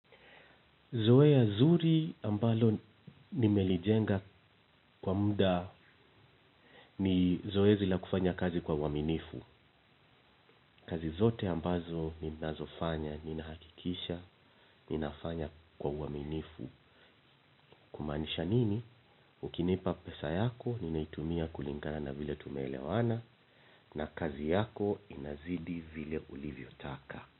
Zoea zuri, ambalo nimelijenga kwa muda ni zoezi la kufanya kazi kwa uaminifu. Kazi zote ambazo ninazofanya, ninahakikisha, ninafanya kwa uaminifu. Kumaanisha nini? Ukinipa pesa yako, ninaitumia kulingana na vile tumeelewana na kazi yako, inazidi vile ulivyotaka.